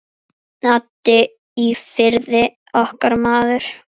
Addi í Firði, okkar maður.